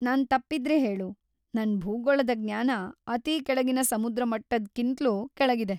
ನಾನ್‌ ತಪ್ಪಿದ್ರೆ ಹೇಳು, ನನ್‌ ಭೂಗೋಳದ ಜ್ಞಾನ ಅತಿ ಕೆಳಗಿನ ಸಮುದ್ರಮಟ್ಟದ್ಕಿಂತ್ಲೂ ಕೆಳಗಿದೆ.